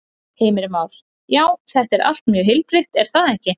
Heimir Már: Já, þetta er allt mjög heilbrigt er það ekki?